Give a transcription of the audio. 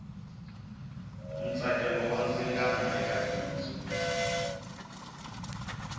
ntsakelo wa ndzingano eka bindzu